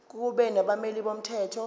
kube nabameli bomthetho